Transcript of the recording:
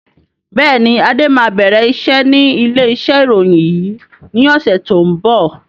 Bẹ́ẹ̀ni, Adé máa bẹ̀rẹ̀ iṣẹ́ ni ilé iṣẹ́ ìròyìn yìí ni ọ̀sẹ̀ tó ń bọ̀.